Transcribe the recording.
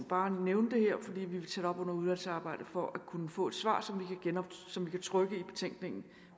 bare nævne det her fordi vi vil tage det op under udvalgsarbejdet for at kunne få et svar som vi kan trykke i betænkningen